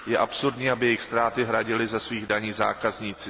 Je absurdní, aby jejich ztráty hradili ze svých daní zákazníci.